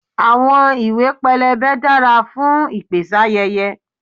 Àwọn ìwé pélébé dára fún ìpèsáyẹyẹ.